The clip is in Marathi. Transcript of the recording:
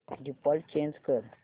डिफॉल्ट चेंज कर